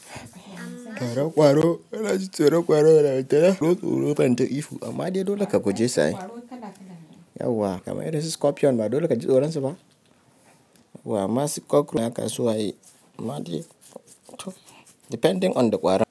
Ƙwaro, ƙwaro, ina jin tsoron ƙwaro mana. Amman ba wai inji tsoro nayi ta ihu. Amma dai dole ka kuje su ai. Yauwa kamar irinsu scorpion ba dole kaji tsoron su ba yauwa, amman su kokoro haka suwa ye. Amma dai, tom depending on the qwaron.